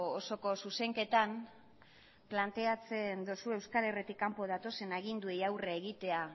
osoko zuzenketan planteatzen duzue euskal herritik kanpo datozen aginduei aurre egitea